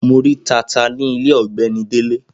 Mo rí tata ní ilé ọ̀gbẹ́ni Délé.